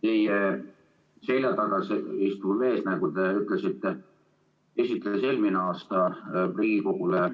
Teie selja taga istuv mees, nagu te ütlesite, esitles eelmisel aastal Riigikogule